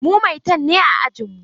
Mu maitan ne a ajinmu.